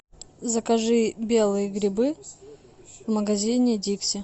закажи белые грибы в магазине дикси